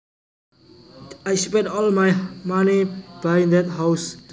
I spent all my money buying that house